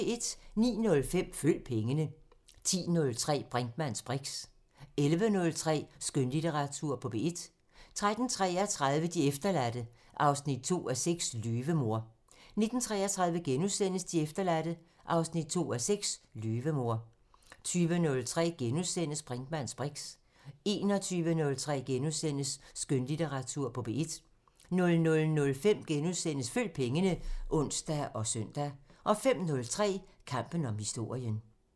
09:05: Følg pengene 10:03: Brinkmanns briks 11:03: Skønlitteratur på P1 13:33: De efterladte 2:6 – Løvemor 19:33: De efterladte 2:6 – Løvemor * 20:03: Brinkmanns briks * 21:03: Skønlitteratur på P1 * 00:05: Følg pengene *(ons og søn) 05:03: Kampen om historien